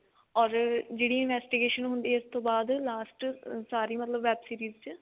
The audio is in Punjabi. or ਜਿਹੜੀ investigation ਹੁੰਦੀ ਆ ਇਸ ਤੋਂ ਬਾਦ last ਸਾਰੀ ਮਤਲਬ web series ਚ